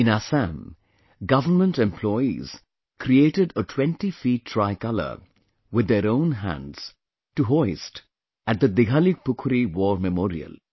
In Assam, government employees created a 20 feet tricolor with their own hands to hoist at the Dighalipukhuri War memorial